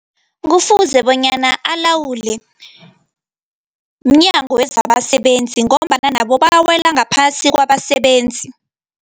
Kufuze bonyana alawule mNyango wezabaSebenzi, ngombana nabo bawela ngaphasi kwabasebenzi.